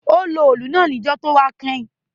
Ó lo òòlù náà níjó tówá kẹ́hìn